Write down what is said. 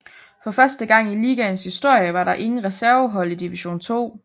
For første gang i ligaens historie var der ingen reservehold i Division 2